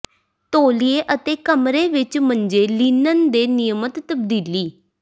ਤੌਲੀਏ ਅਤੇ ਕਮਰੇ ਵਿਚ ਮੰਜੇ ਲਿਨਨ ਦੇ ਨਿਯਮਤ ਤਬਦੀਲੀ